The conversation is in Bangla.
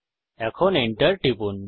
এখন Enter টিপুন